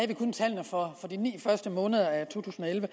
vi kun tallene for de ni første måneder af to tusind og elleve